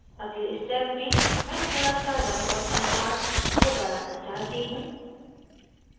अगली step में मैं थोड़ा सा रंग और contrast को बढ़ाना चाहती हूँ